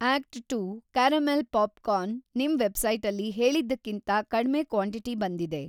Act two caramel popcorn ನಿಮ್‌ ವೆಬ್‌ಸೈಟಲ್ಲಿ‌ ಹೇಳಿದ್ದಕ್ಕಿಂತ ಕಡ್ಮೆ ಕ್ವಾಂಟಿಟಿ ಬಂದಿದೆ.